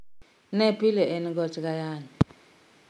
Ne pile en goch kod ayany